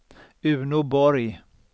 Uno Borg